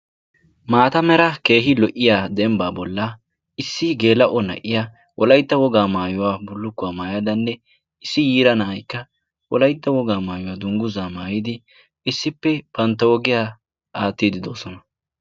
maata mera keehi lo77iya dembbaa bolla issi geela7o na77iya wolaitta wogaa maayuwaa bulukkuwaa maayadanne issi yiira na7aikka wolaitta wogaa maayuwaa dungguzaa maayidi issippe bantta wodiyaa aattiidi doosona